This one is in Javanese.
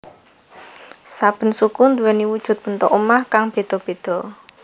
Saben suku nduweni wujud bentuk omah kang beda beda